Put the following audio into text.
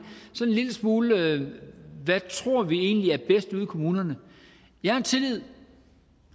lille smule hvad tror vi egentlig er bedst ude i kommunerne jeg har tillid